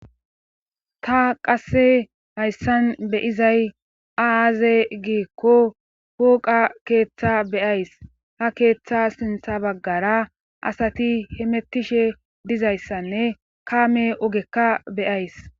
Ta qasse hayssan beyizay aaze giekko hooqa keeththa beyays ha keeththa sintha baggara asati hemettishe dizayssanne kaame ogekka beyays